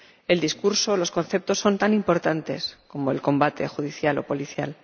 El discurso y los conceptos son tan importantes como el combate judicial o policial.